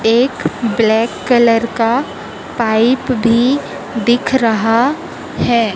एक black colour का pipe भी दिख रहा है।